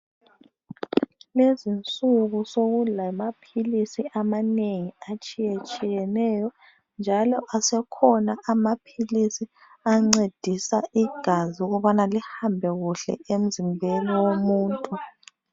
Kulezi insuku seku lamaphilisi amanengi atshiyetsheyeneyo njalo asekhona amaphilisi ancedisa igazi ukubana lihambe kuhle emzimbeni womuntu.